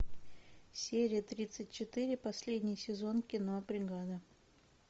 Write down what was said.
серия тридцать четыре последний сезон кино бригада